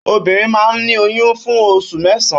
Óbìrín mà n ni óyùn fún óṣú mèsãn